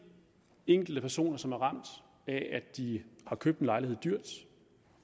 enkelte personer som er ramt af at de har købt en lejlighed dyrt